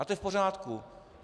A to je v pořádku.